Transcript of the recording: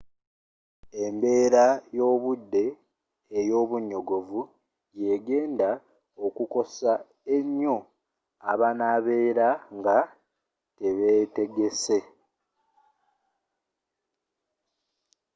embeera y'obudde ey'obunyogovu yegenda okukosa ennyo abanabeera nga tebeetegese